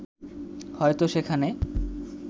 হয়তো সেখানে